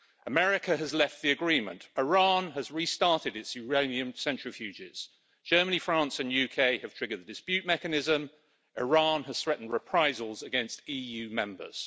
America has left the agreement, Iran has restarted its uranium centrifuges, Germany, France and the UK have triggered the dispute mechanism, Iran has threatened reprisals against EU Members.